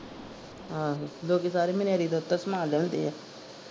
ਆਹੋ ਲੋਕੀ ਸਾਰੇ ਮਨਿਆਰੀ ਦਾ ਓਥੋਂ ਸਮਾਨ ਲਿਆਉਂਦੇ ਆ।